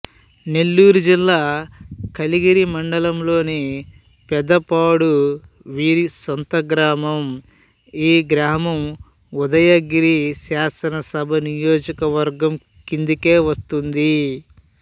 నెల్లూరు జిల్లా కలిగిరి మండలంలోని పెద్దపాడు వీరి సొంత గ్రామం ఈ గ్రామం ఉదయగిరి శాసనసభ నియోజకవర్గం కిందికే వస్తుంది